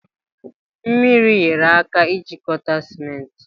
Mmiri nyere aka jikọta sịmentị